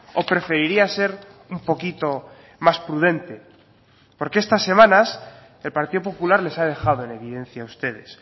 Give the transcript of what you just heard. o preferiría ser un poquito más prudente porque estas semanas el partido popular les ha dejado en evidencia a ustedes